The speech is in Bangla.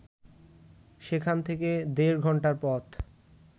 সেখান থেকে দেড় ঘন্টার পথ